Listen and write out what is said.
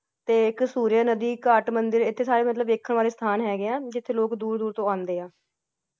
ਤੇ ਇਕ ਸੂਰਿਆ ਨਦੀ, ਘਾਟ ਮੰਦਿਰ ਐਥੇ ਸਾਰੇ ਮਤਲਬ ਵੇਖਣ ਵਾਲੇ ਹੈਗੇ ਹੈ ਜਿਥੇ ਲੋਕ ਦੂਰ-ਦੂਰ ਤੋਂ ਆਂਦੇ ਹਾਂ ।